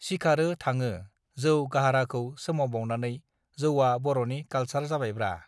सिखारो थाङो जौ गाहृाखौ सोमावबावनानै जौवा बरनि कालसार जाबायब्रा